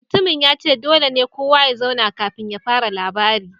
Mutumin ya ce dole ne kowa ya zauna kafin ya fara labarin